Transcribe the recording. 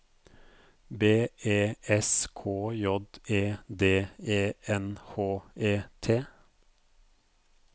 B E S K J E D E N H E T